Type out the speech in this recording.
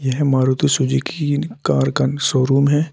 यह Maruti Suzuki car का showroom है।